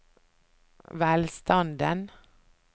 velstanden